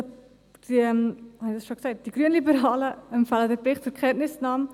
Die Grünliberalen empfehlen den Bericht einstimmig zur Kenntnisnahme.